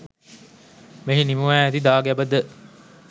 මෙහි නිමවා ඇති දාගැබද